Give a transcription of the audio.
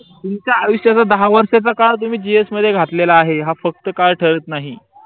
तुमच्या आयुष्याचं दहावर्षाचा काळ तुम्ह gs घातलेले आहे या फक्त या फक्त काळ ठरत नाही